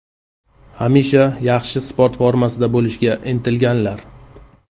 Hamisha yaxshi sport formasida bo‘lishga intilganlar.